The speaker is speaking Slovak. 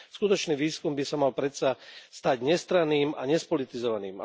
Skutočný výskum by sa mal predsa stať nestranným a nespolitizovaným.